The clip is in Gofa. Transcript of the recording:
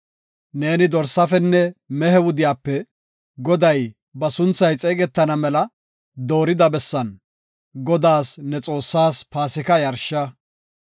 Neeni dorsafenne mehe wudiyape Goday ba sunthay xeegetana mela doorida bessan, Godaas, ne Xoossaas, Paasika yarsha.